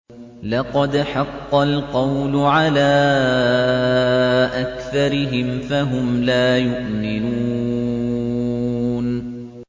لَقَدْ حَقَّ الْقَوْلُ عَلَىٰ أَكْثَرِهِمْ فَهُمْ لَا يُؤْمِنُونَ